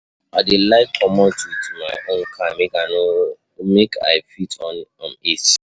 I dey like comot wit my my own car make I fit on um AC.